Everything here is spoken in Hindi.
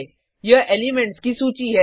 यह एलिमेंट्स की सूची है